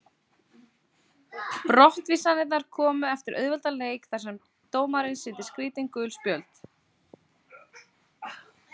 Brottvísanirnar komu eftir auðveldan leik þar sem dómarinn sýndi skrítin gul spjöld.